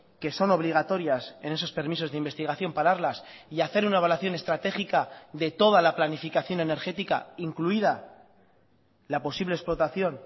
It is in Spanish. que son obligatorias en esos permisos de investigación pararlas y hacer una evaluación estratégica de toda la planificación energética incluida la posible explotación